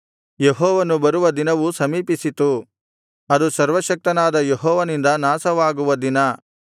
ಯೆಹೋವನು ಬರುವ ದಿನವು ಸಮೀಪಿಸಿತು ಅದು ಸರ್ವಶಕ್ತನಾದ ಯೆಹೋವನಿಂದ ನಾಶವಾಗುವ ದಿನ